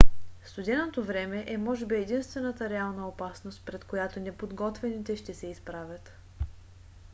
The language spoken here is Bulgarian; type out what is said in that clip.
студеното време е може би единствената реална опасност пред която неподготвените ще се изправят